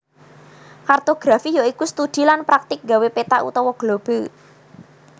Kartografi ya iku studi lan praktik gawé peta utawa globe